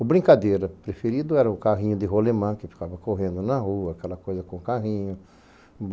O brincadeira preferido era o carrinho de rolemã, que ficava correndo na rua, aquela coisa com carrinho.